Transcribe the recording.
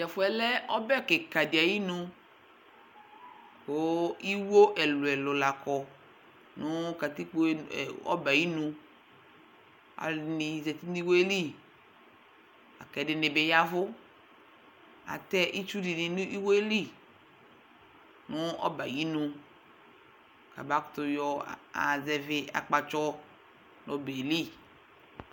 t'ɛfu yɛ lɛ ɔbɛ keka di ayi nu kò iwo ɛlò ɛlò la kɔ no katikpo yɛ ɔbɛ ayi inu alò ɛdini zati no iwo yɛ li la kò ɛdini bi ya vu atɛ itsu di ni no iwo yɛ li no ɛbɛ ayi inu k'aba kutò yɔ azɛvi akpatsɔ n'ɔbɛ yɛ li